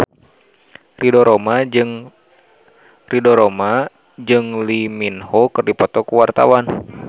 Ridho Roma jeung Lee Min Ho keur dipoto ku wartawan